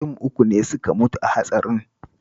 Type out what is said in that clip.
Mutum uku ne suka mutu a hatsarin